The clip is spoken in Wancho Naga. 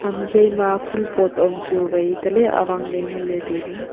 ham zoima phul pot am chu vai taley avang ley ngan ley tailey.